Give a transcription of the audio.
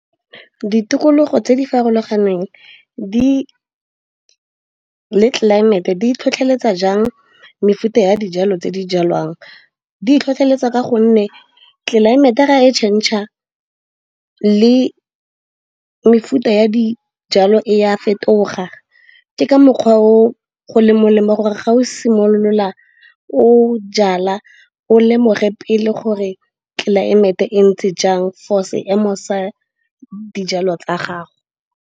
ditokologo tse di farologaneng di le tlelaemete di tlhotlheletsa jang mefuta ya dijalo tse di jalwang di tlhotlheletsa ka gonne tlelaemete ra e change r le mefuta ya dijalo e a fetoga ke ka mokgwa o go le molemo gore ga o simolola o jala o lemoge pele gore tlelaemete e ntse jang force heme o sa dijalo tsa gago